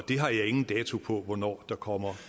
har ingen dato for hvornår der kommer